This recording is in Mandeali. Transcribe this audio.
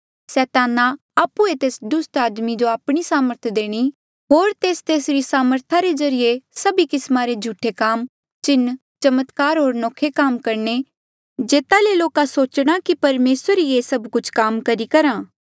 सैताना आप्हुए तेस दुस्ट आदमी जो आपणी सामर्थ देणी होर तेस तेसरी सामर्था रे ज्रीए सभी किस्मा रे झूठे काम चिन्ह चमत्कार होर नौखे काम करणे जेता ले लोका सोचणा कि परमेसर ही ये सभ कुछ काम करी करहा